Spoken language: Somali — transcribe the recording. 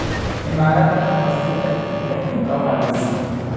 cimilada oo si tartiib tartiib ah u habayso